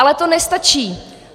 Ale to nestačí.